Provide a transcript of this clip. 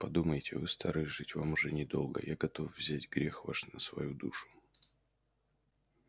подумайте вы стары жить вам уж недолго я готов взять грех ваш на свою душу